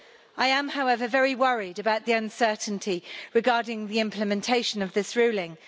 I am, however, very worried about the uncertainty regarding the implementation of this ruling.